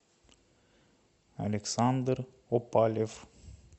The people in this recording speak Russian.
александр опалев